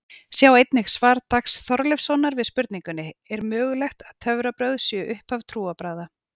Sjá einnig svar Dags Þorleifssonar við spurningunni Er mögulegt að töfrabrögð séu upphaf trúarbragða?